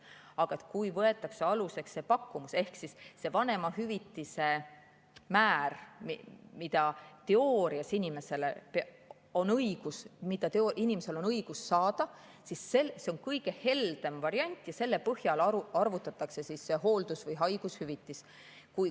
Aga kui võetakse aluseks see pakkumus ehk see vanemahüvitise määr, mida teoorias on inimesel õigus saada, siis see on kõige heldem variant ja selle põhjal arvutatakse see hooldus‑ või haigushüvitis.